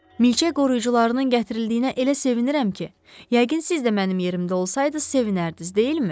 Milçək qoruyucularının gətirildiyinə elə sevinirəm ki, yəqin siz də mənim yerimdə olsaydınız, sevinərdiniz, deyilmi?